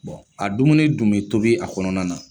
Bɔn a dumuni dun bɛ tobi a kɔnɔna na